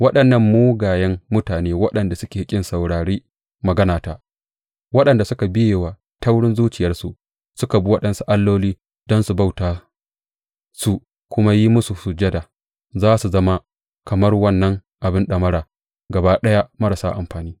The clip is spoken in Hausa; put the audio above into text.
Waɗannan mugayen mutane, waɗanda suka ƙi saurari maganata, waɗanda suka biye wa taurin zuciyarsu suka bi waɗansu alloli don su bauta su kuma yi musu sujada, za su zama kamar wannan abin ɗamara gaba ɗaya marasa amfani!